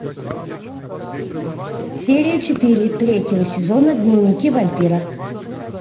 серия четыре третьего сезона дневники вампира